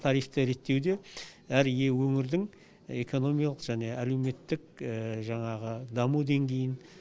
тарифті реттеуде әр ие өңірдің экономиялық және әлеуметтік жаңағы даму деңгейін